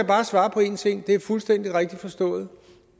bare svare på en ting det er fuldstændig rigtigt forstået